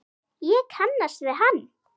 Ég kannast við hann.